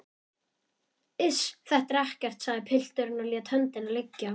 Iss, þetta er ekkert, sagði pilturinn og lét höndina liggja.